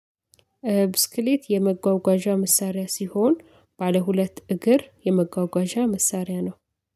ብስክሌት የመጓጓዣ መሳሪያ ሲሆን ባለ ሁለት እግር የመጓጓዣ መሳሪያ ነው።